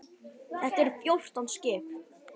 Þetta eru fjórtán skip.